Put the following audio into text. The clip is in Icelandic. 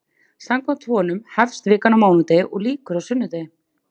Samkvæmt honum hefst vikan á mánudegi og lýkur á sunnudegi.